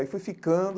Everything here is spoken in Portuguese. Aí fui ficando.